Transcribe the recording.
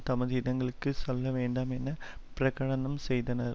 தமது இடங்களுக்கு செல்ல வேண்டும் என பிரகடனம் செய்தார்